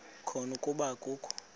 khona kuba akakho